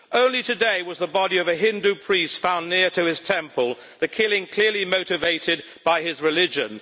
Only today was the body of a Hindu priest found near to his temple, the killing clearly motivated by his religion.